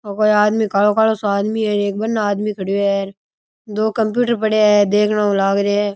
ओ कोई आदमी कालो कालो सो आदमी है एक बनने आदमी खड़यो है दो कम्प्यूटर पड़े है दिख न ऊ लाग रे है।